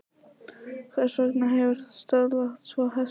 Hvers vegna hefurðu söðlað tvo hesta?